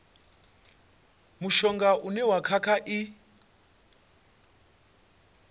mushonga une wa kha i